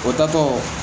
O taatɔ